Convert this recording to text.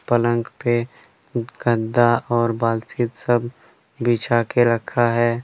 पलंग पे गद्दा और बालचित सब बिछा के रखा है।